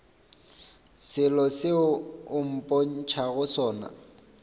selo seo o mpotšago sona